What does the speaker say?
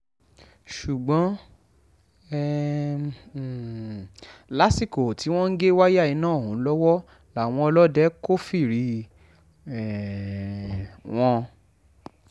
ṣùgbọ́n um lásìkò tí wọ́n ń gé wáyà iná ọ̀hún lọ́wọ́ làwọn ọlọ́dẹ kófìrí um wọn